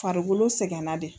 Farikolo sɛgɛnna dɛ.